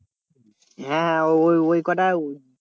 হ্যাঁ ওই ওই কটা